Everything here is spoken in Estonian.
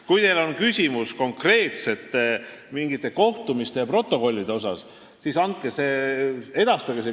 Kui teil on küsimus mingite konkreetsete kohtumiste ja protokollide kohta, siis edastage see.